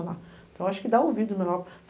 Então eu acho que dá ouvido melhor.